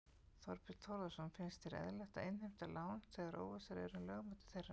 Þorbjörn Þórðarson: Finnst þér eðlilegt að innheimta lán þegar óvissa er um lögmæti þeirra?